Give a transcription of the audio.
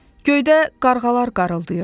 Göydə qarğalar qarğıldayırdı.